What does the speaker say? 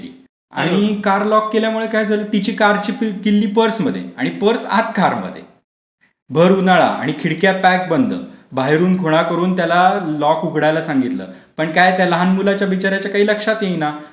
होती आणि car lock केल्यामुळे काय झालं तिची कार ची किल्ली पर्स मध्ये आणि पर्स आत कार मध्ये भर उन्हाळा आणि खिडक्या पॅक बंद बाहेरून खुणा करून त्याला लॉक उघडायला सांगितलं पण काय त्या लहान मुलाच्या बिचार् याच्या काही लक्षात येईना